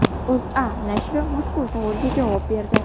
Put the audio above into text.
O‘zA nashri mazkur savolga javob berdi.